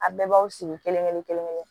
A bɛɛ b'aw sigi kelen-kelen-kelen-kelen